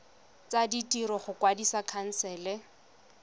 tsa ditiro go kwadisa khansele